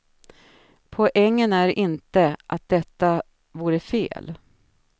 Poängen är inte att detta vore fel.